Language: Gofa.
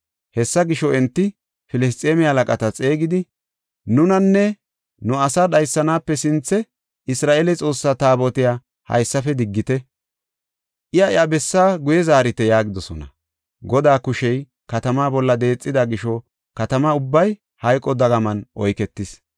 Hessa gisho, enti Filisxeeme halaqata xeegidi, “Nunanne nu asaa dhaysanaape sinthe Isra7eele Xoossaa Taabotiya haysafe diggite; iya iya bessaa guye zaarite” yaagidosona. Godaa kushey katamaa bolla deexida gisho Katama ubbay hayqo dagaman oyketis.